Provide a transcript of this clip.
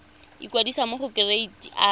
ikwadisa mo go kereite r